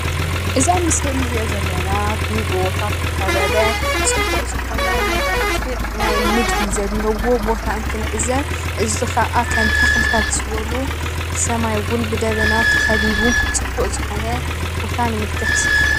እዚ ኣብ ምስሊ ንሪኦ ዘለና ብጎቦታት ዝተከበበ ፅቡቅ ዝኮነ መልኽዕ ናይ ምድሪ ዘለዎ ቦታ እንትን ዕዘብ እዚ ከዓ ከም ተክልታት ዝበሉ ሰማይ እውን ብደበና ተከቢቡ ፅቡቅ ዝኮነ ቦታ ንምልከት ።